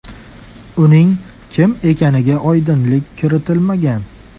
Uning kim ekaniga oydinlik kiritilmagan.